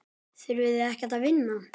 Þurfið þið ekkert að vinna?